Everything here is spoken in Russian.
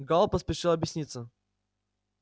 гаал поспешил объясниться